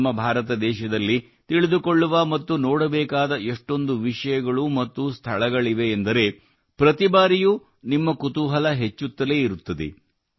ನಮ್ಮ ಭಾರತ ದೇಶದಲ್ಲಿ ತಿಳಿದುಕೊಳ್ಳುವ ಮತ್ತು ನೋಡಬೇಕಾದ ಎಷ್ಟೊಂದು ವಿಷಯಗಳು ಮತ್ತು ಸ್ಥಳಗಳಿವೆ ಎಂದರೆ ಪ್ರತಿಬಾರಿಯೂ ನಿಮ್ಮ ಕುತೂಹಲ ಹೆಚ್ಚುತ್ತಲೇ ಇರುತ್ತದೆ